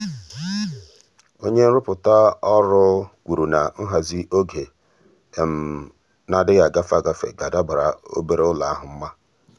ọ́nye nrụpụta ahụ́ kwùrù na nhazi ọ́gé nà-adị́ghị́ ágafe ágafe ga-adàbàrà obere ụ́lọ̀ ahụ́ mma.